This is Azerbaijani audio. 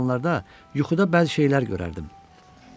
İnsanlarda yuxuda bəzi şeylər görərdim.